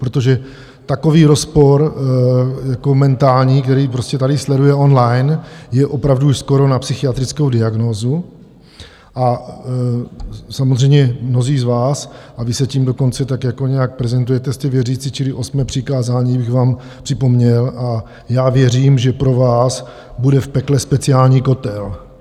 Protože takový rozpor jako mentální, který prostě tady sleduje online, je opravdu už skoro na psychiatrickou diagnózu, a samozřejmě mnozí z vás, a vy se tím dokonce tak jako nějak prezentujete, jste věřící, čili osmé přikázání bych vám připomněl, a já věřím, že pro vás bude v pekle speciální kotel.